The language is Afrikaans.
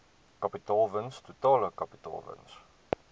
kapitaalwins totale kapitaalwins